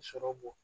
Sɔrɔ bɔ